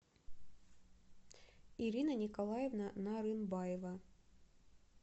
ирина николаевна нарынбаева